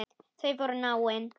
Þau voru náin.